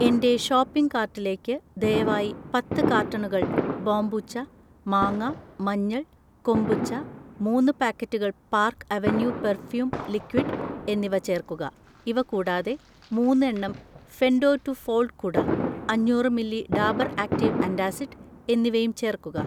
എന്‍റെ ഷോപ്പിംഗ് കാർട്ടിലേക്ക് ദയവായി പത്ത് കാർട്ടണുകൾ ബോംബൂച്ച മാങ്ങ മഞ്ഞൾ കൊമ്പുച്ച, മൂന്ന് പാക്കറ്റുകൾ പാർക്ക് അവന്യൂ പെർഫ്യൂം ലിക്വിഡ് എന്നിവ ചേർക്കുക. ഇവ കൂടാതെ, മൂന്ന് എണ്ണം ഫെൻഡോ ടു ഫോൾഡ് കുട, അഞ്ഞൂറ് മില്ലി ഡാബർ ആക്റ്റീവ് ആന്റാസിഡ് എന്നിവയും ചേർക്കുക.